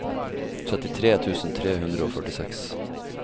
trettitre tusen tre hundre og førtiseks